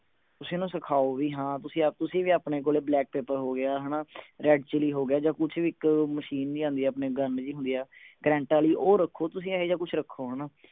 ਤੁਸੀਂ ਓਹਨੂੰ ਸਿਖਾਓ ਵੀ ਹਾਂ ਤੁਸੀਂ ਤੁਸੀਂ ਵੀ ਆਪਣੇ ਕੋਲੇ black pepper ਹੋ ਗਿਆ ਹਣਾ red chilli ਹੋ ਗਿਆ ਜਾ ਕੁਛ ਵੀ ਇਕ ਮਸ਼ੀਨ ਵੀ ਆਂਦੀ ਹੈ ਆਪਣੇ gun ਜਿਹੀ ਹੁੰਦੀ ਆ ਕਰੰਟ ਆਲੀ ਤੁਸੀਂ ਉਹ ਰੱਖੋ ਤੁਸੀਂ ਇਹੋਜਾ ਕੁਛ ਰੱਖੋ ਹਣਾ